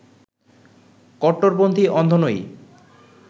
কট্টরপন্থি অন্ধ নই